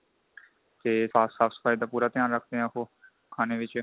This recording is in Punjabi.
ਤੇ ਸਾਫ਼ ਸਫਾਈ ਦਾ ਪੂਰਾ ਧਿਆਨ ਰਖਦੇ ਹੈ ਉਹ ਖਾਣੇ ਵਿੱਚ